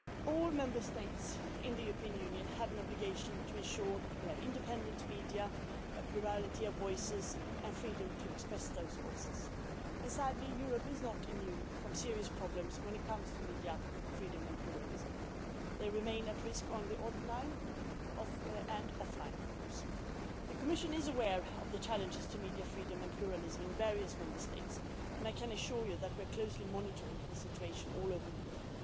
All Member States in the European Union have an obligation to ensure that we have independent media, a plurality of voices and the freedom to express those voices, and sadly Europe is not immune from serious problems when it comes to media freedom and pluralism. These remain at risk both online and offline. The Commission is aware of the challenges to media freedom and pluralism in various Member States and I can assure you that we are closely monitoring the situation all over Europe.